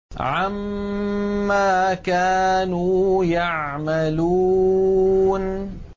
عَمَّا كَانُوا يَعْمَلُونَ